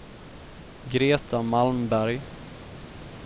Greta Malmberg